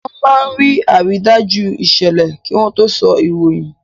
Wọ́n máa ń rí àrídájú ìṣẹ̀lẹ̀ kí wọ́n tó sọ ìròyìn.